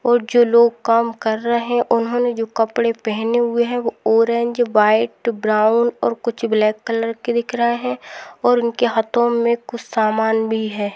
और जो लोग काम कर रहे हैं उन्होंने जो कपड़े पहने हुए हैं वो ऑरेंज व्हाइट ब्राउन और कुछ ब्लैक कलर के दिख रहे हैं और उनके हाथों में कुछ सामान भी है।